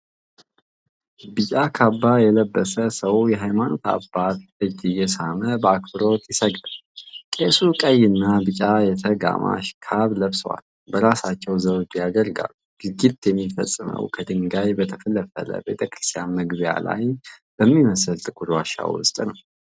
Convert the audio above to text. ቢጫ ካባ የለበሰ ሰው የሃይማኖት አባት እጅ እየሳመ በአክብሮት ይሰግዳል። ቄሱ ቀይ እና ቢጫ የተጋማሽ ካባ ለብሰዋል፤ በራሳቸውም ዘውድ ያደርጋሉ። ድርጊቱ የሚፈፀመው ከድንጋይ በተፈለፈለው ቤተክርስቲያን መግቢያ ላይ በሚመስል ጥቁር ዋሻ ውስጥ ነው።